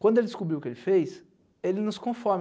Quando ele descobriu o que ele fez, ele não se conforma.